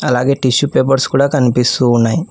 అలాగే tissue papers కూడా కనిపిస్తూ ఉన్నాయ్.